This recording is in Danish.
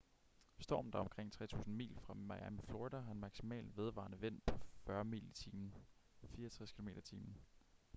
stormen der er omkring 3.000 mil fra miami florida har en maksimal vedvarende vind på 40 mil i timen 64 km/t